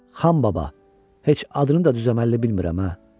Xan baba, heç adını da düz-əməlli bilmirəm ha.